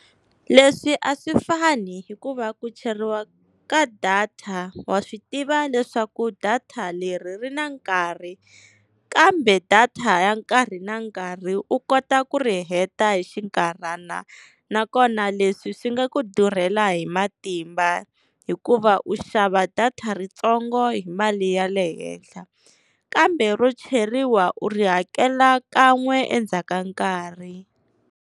Leswi a swi fani hikuva ku cheriwa ka data wa swi tiva leswaku data leri ri na nkarhi, kambe data ya nkarhi na nkarhi u kota ku ri heta hi xinkarhana, nakona leswi swi nga ku durhela hi matimba hikuva u xava data ritsongo hi mali ya le henhla. Kambe ro cheriwa u ri hakela kan'we endzhaku ka nkarhi.